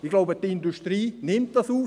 Ich denke, die Industrie nimmt dies auf.